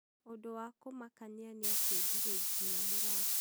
undũ wa kumakanĩa nĩ atĩ ndirĩ nginya mũrata.